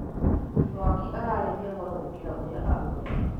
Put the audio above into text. Mwaki ararĩhia goro gũkĩra ũrĩa augaga